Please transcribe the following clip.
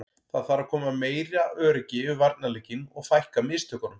Það þarf að koma meira öryggi yfir varnarleikinn og fækka mistökunum.